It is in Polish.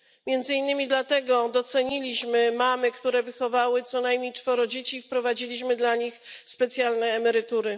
Między innymi dlatego doceniliśmy mamy, które wychowały co najmniej czworo dzieci, i wprowadziliśmy dla nich specjalne emerytury.